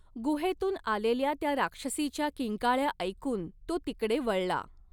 गुहेतुन आलेल्या त्या राक्षसीच्या किंकाळ्या ऐकून तो तिकडे वळला.